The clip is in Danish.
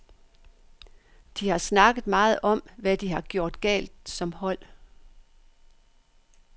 De har snakket meget om, hvad de har gjort galt som hold.